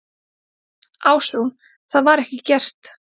Ásrún: Það var ekki gert?